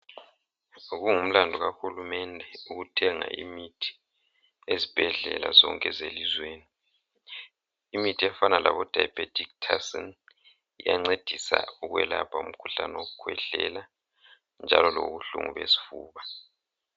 Sokungumlandu kahulumende ukuthenga imithi ezibhedlela zonke zelizweni imithi efana labo Diabetic Tussin iyancedisa ukwelapha umkhuhlane wokukwehlela njalo lobuhlungu besifuba